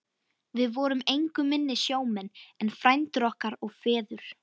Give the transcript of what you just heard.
Við vorum engu minni sjómenn en frændur okkar og feður.